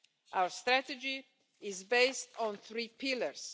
Our strategy is based on three pillars.